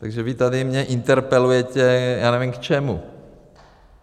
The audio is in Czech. Takže vy mě tady interpelujete, já nevím, k čemu.